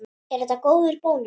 Er þetta góður bónus?